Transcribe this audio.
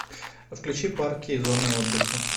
включи парки и зоны отдыха